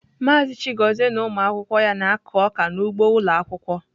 Maazị Chigozie na ụmụ akwụkwọ ya na-akụ ọka n'ugbo ụlọ akwụkwọ.